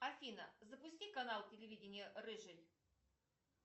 афина запусти канал телевидения рыжий